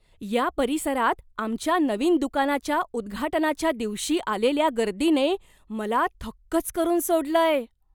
या परिसरात आमच्या नवीन दुकानाच्या उद्घाटनाच्या दिवशी आलेल्या गर्दीने मला थक्कच करून सोडलंय.